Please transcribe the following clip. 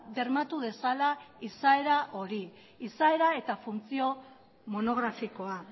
bermatu dezala izaera hori izaera eta funtzio monografikoa